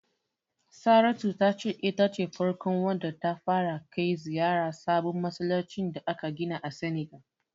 Saratu ta ce ita ce farkon wadda ta fara kai ziyarar sabon masallacin da aka gina a Senegal.